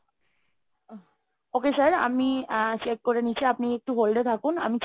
Okay sir, আমি check করে নিচ্ছি. আপনি একটু hold এ থাকুন। আমি